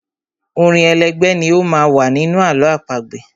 Orin elégbè ni ó má ń wà nínú àlọ́ àpagbè.